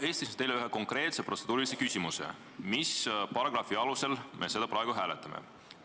Ma esitasin teile ühe konkreetse protseduurilise küsimuse: mis paragrahvi alusel me seda praegu hääletame?